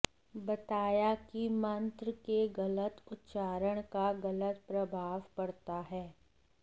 बताया कि मंत्र के गलत उच्चारण का गलत प्रभाव पड़ता है